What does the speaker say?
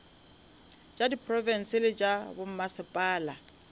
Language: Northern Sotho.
tša diprofense le tša bommasepala